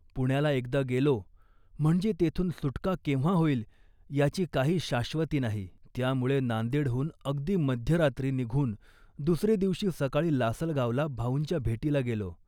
पुण्याला एकदा गेलो म्हणजे तेथून सुटका केव्हा होईल याची काही शाश्वती नाही. त्यामुळे नांदेडहून अगदी मध्यरात्री निघून दुसरे दिवशी सकाळी लासलगावला भाऊंच्या भेटीला गेलो